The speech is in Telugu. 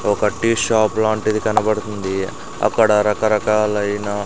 ఒక టీ షాప్ లాంటిది కనబడుతుంది అక్కడ రక రాకలైనా --